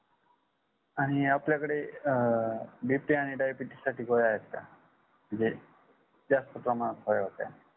आणि आपल्याकडे अ bp आणि diabetes साठी गोळ्या आहेत का म्हणजे जास्त प्रमाणात हव्या होत्या